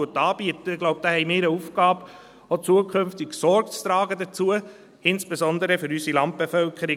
Ich glaube, da haben wir eine Aufgabe, auch zukünftig Sorge dazu zu tragen, insbesondere für unsere Landbevölkerung.